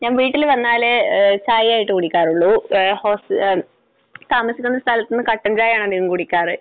ഞാൻ വീട്ടിൽ വന്നാലേ ചായയായിട്ട് കുടിക്കാറുള്ളൂ. താമസിക്കുന്ന സ്ഥലത്തുനിന്ന് കട്ടൻ ചായയാണ് അധികവും കുടിക്കാറ്.